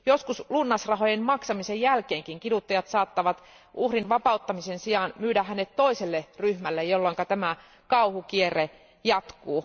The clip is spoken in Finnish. Joskus lunnasrahojen maksamisen jälkeen kiduttajat saattavat uhrin vapauttamisen sijaan myydä hänet toiselle ryhmälle, jolloin tämä kauhukierre jatkuu.